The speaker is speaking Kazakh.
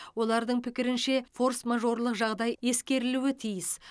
олардың пікірінше форс мажорлық жағдай ескерілуі тиіс